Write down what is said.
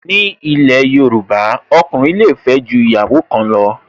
Ni ilẹ̀ Yorùbá, ọkùnrin le fẹ́ ju ìyàwó kan lọ